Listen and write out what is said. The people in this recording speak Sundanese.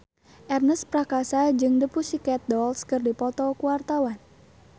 Ernest Prakasa jeung The Pussycat Dolls keur dipoto ku wartawan